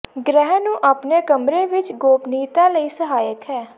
ਗ੍ਰਹਿ ਨੂੰ ਆਪਣੇ ਕਮਰੇ ਵਿੱਚ ਗੋਪਨੀਯਤਾ ਲਈ ਸਹਾਇਕ ਹੈ